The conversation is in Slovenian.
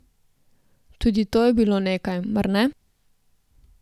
Tudi to je bilo nekaj, mar ne?